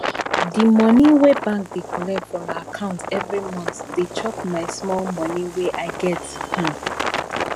de monie wey bank dey collect from my account every month dey chop my small money wey i get um